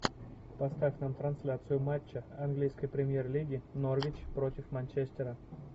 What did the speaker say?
поставь нам трансляцию матча английской премьер лиги норвич против манчестера